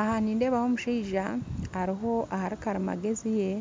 Aha nindeebaho omushaija Ari ahakarimagezi ye